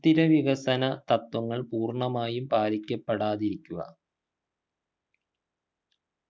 സുസ്ഥിര വികസന തത്ത്വങ്ങൾ പൂർണമായും പാലിക്കപ്പെടാതിരിക്കുക